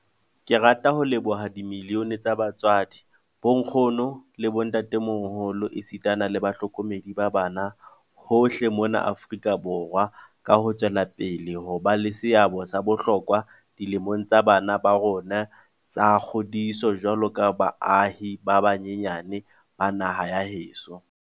Ke rata ho leboha dimiliyone tsa batswadi, bonkgono le bo ntatemoholo esita le bahlokomedi ba bana hohle mona Afrika Borwa ka ho tswela pele ho ba le seabo sa bohlokwa dilemong tsa bana ba rona tsa kgodiso jwaloka baahi ba banyenyane ba naha ya heso.